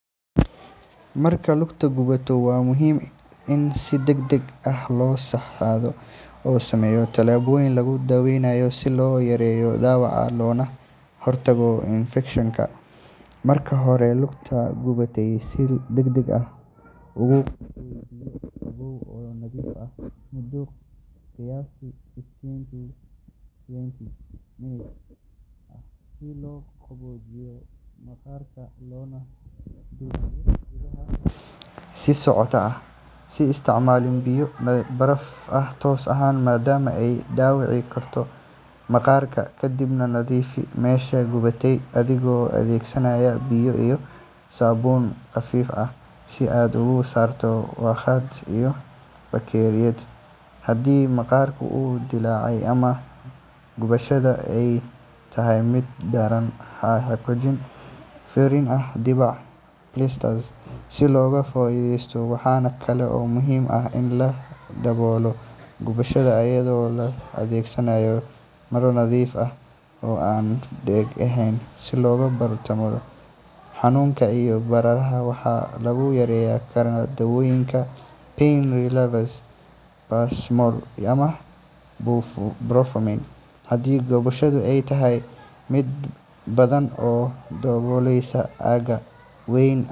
Marka lugta gubato, waa muhiim in si degdeg ah oo sax ah loo sameeyo tallaabooyin lagu daweynayo si loo yareeyo dhaawaca loona hortago infekshan. Marka hore, lugta gubatay si degdeg ah ugu qooy biyo qabow oo nadiif ah muddo qiyaastii fifteen to twenty minutes ah si loo qaboojiyo maqaarka loona joojiyo gubashada sii socota. Ha isticmaalin biyo baraf ah toos ah maadaama ay dhaawici karto maqaarka. Kadib, nadiifi meesha gubatay adigoo adeegsanaya biyo iyo saabuun khafiif ah si aad uga saarto wasakhda iyo bakteeriyada. Haddii maqaarka uu dillaacay ama gubashada ay tahay mid daran, ha xoqin ama ha furin dhibcaha blisters si looga fogaado infekshan. Waxa kale oo muhiim ah in la daboolo gubashada iyadoo la adeegsanayo maro nadiif ah oo aan dheg lahayn si looga hortago wasakhda. Xanuunka iyo bararka waxaa lagu yareyn karaa daawooyinka pain relievers sida paracetamol ama ibuprofen. Haddii gubashadu ay tahay mid ba’an oo daboolaysa aagga weyn.